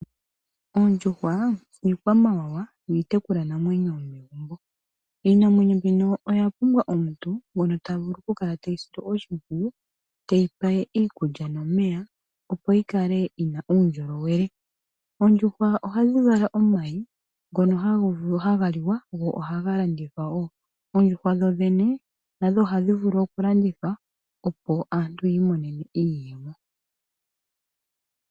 Oondjuhwa iikwamawawa yo iitekulwanamwenyo yomegumbo. Iinamwenyo mbino oya pumbwa omuntu ngono tavulu okukala teyi sile oshimpwiyu, teyi pe iikulya nomeya, opo yikale yina uundjolowele. Oondjuhwa ohadhi vala omayi ngono haga liwa, go ohaga landithwa wo. Oondjuhwa dhoodhene nadho odha pumbwa okulandithwa, opo aantu yi imonenemo iiyemo.